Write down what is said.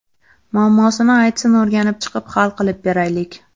Muammosini aytsin o‘rganib chiqib hal qilib beraylik”.